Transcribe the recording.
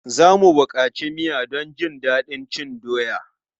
Za mu buƙaci miya don jin daɗin cin doya.